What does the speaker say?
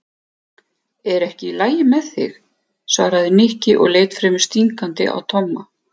Er ekki allt lagi með þig? svaraði Nikki og leit fremur stingandi á Tomma.